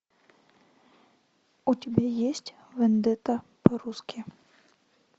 у тебя есть вендетта по русски